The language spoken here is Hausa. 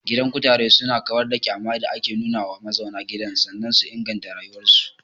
Gidan kutare su na kawar da ƙyama da ake nuna wa mazauna gidan sannan su inganta rayuwar su